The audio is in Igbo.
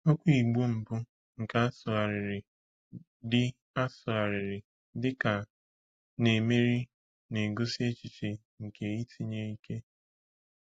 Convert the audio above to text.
Okwu Igbo mbụ nke a sụgharịrị dị a sụgharịrị dị ka “na-emeri” na-egosi echiche nke “itinye ike.”